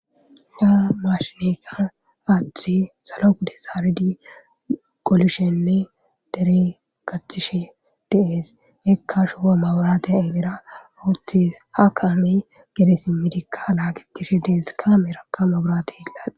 yaa maashineka aathe salo gude zaari dii qolishenne dere katishe dees ekka shuho maburati elera owothes ha kaami gedesimidikka laagitishe dees ka merakka maburati yeglan